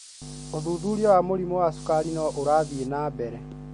ũthuthurua wa mũrimũ wa sukari no ũrathĩ na mbere.